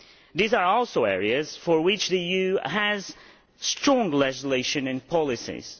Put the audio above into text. These are also areas in which the EU has strong legislation and policies.